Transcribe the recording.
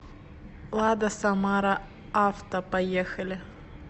лада самара авто поехали